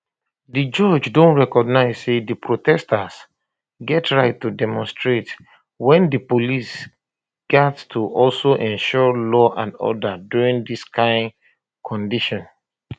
di judge don recognize say di protesters get right to demonstrate wey di police gat to also ensure um law and order during dis kind demonstrations